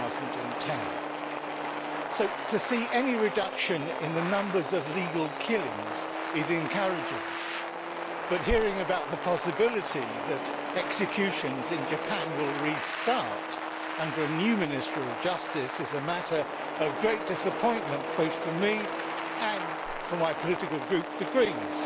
2010. To see any reduction in the numbers of legal killings is encouraging but hearing about the possibility that executions in Japan will restart under a new Minister of Justice is a matter of great disappointment both for me and for my political group, the Greens,